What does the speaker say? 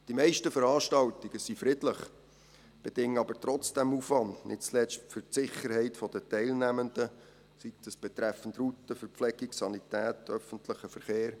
Die meisten Veranstaltungen sind friedlich, bedingen aber trotzdem Aufwand, nicht zuletzt für die Sicherheit der Teilnehmenden, sei das betreffend Route, Verpflegung, Sanität, öffentlichem Verkehr.